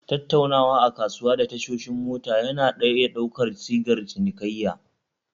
Tattaunawa a kasuwa da tashoshi mota yana iya ɗaukar sigar cinikayya